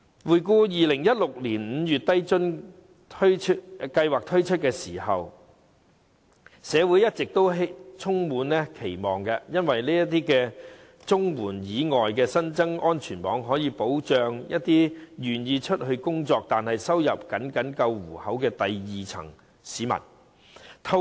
回顧2016年5月低津計劃推出時，社會一直充滿期望，因為這是綜援以外新增的安全網，可以保障一些願意工作，但收入僅夠糊口的第二低層市民。